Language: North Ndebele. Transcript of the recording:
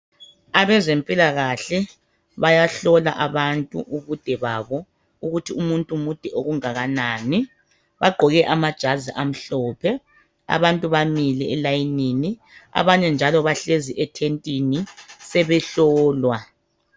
Abeze mpilakahle bayahlola abantu ubude babo ukuthi umuntu mude okungakanani, bagqoke amajazi amhlophe. Abantu bamile elayinini abanye njalo bahlezi ethentini sebehlolwa.